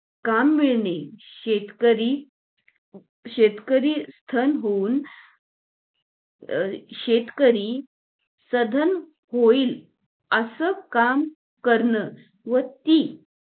काम मिळणे शेतकरी शेतकरी स्थानं होऊन शेतकरी सदन होईल असं कां करन व ती